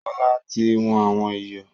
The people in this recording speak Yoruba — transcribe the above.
Sọlá tí wọn àwọn ìyọ̀